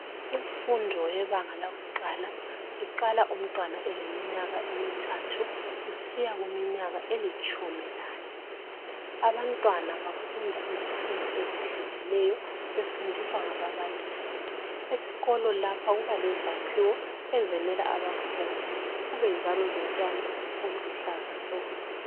Imfundo yebanga lakuqala iqala umntwana eleminyaka emithathu kusiya kuminyaka elitshumi lane, abantwana bafunda izifundo ezehlukeneyo befundiswa ngababalisi, esikolo lapha kubalezakhiwo ezenela abafundi kube njalo lotshani obuluhlaza tshoko